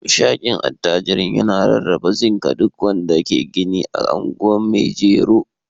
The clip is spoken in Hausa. hamshakin attajirin yana rarraba zinc ga duk wanda ke gini a anguwan maijero.